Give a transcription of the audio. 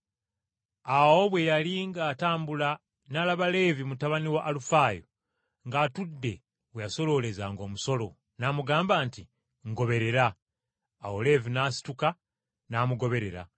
Awo bwe yali ng’atambula n’alaba Leevi mutabani wa Alufaayo ng’atudde we yasoloolezanga omusolo, n’amugamba nti, “Ngoberera.” Awo Leevi n’asituka n’amugoberera.